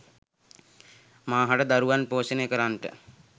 මාහට දරුවන් පෝෂණය කරන්නට,